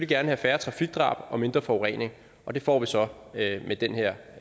gerne have færre trafikdrab og mindre forurening og det får vi så med den her